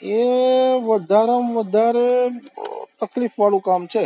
એ વધારેમાં વધારે તફ્લીક વાળુ કામ છે